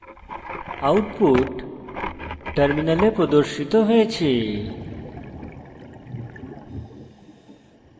output terminal প্রদর্শিত হয়েছে